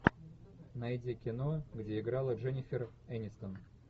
найди кино где играла дженнифер энистон